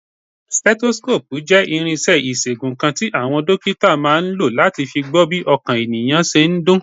Stethoscope jẹ́ irinṣẹ́ ìṣègùn kan tí àwọn dókítà máa ń lò láti fi gbọ́ bí ọkàn ènìyàn ṣe ń dún.